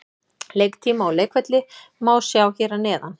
Leiktíma og leikvelli má sjá hér að neðan.